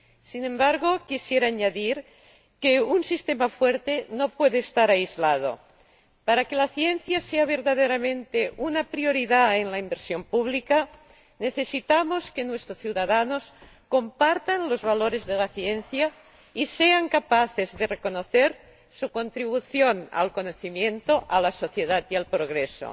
Sin embargo, quisiera añadir que un sistema fuerte no puede estar aislado para que la ciencia sea verdaderamente una prioridad en la inversión pública necesitamos que nuestros ciudadanos compartan los valores de la ciencia y sean capaces de reconocer su contribución al conocimiento, a la sociedad y al progreso.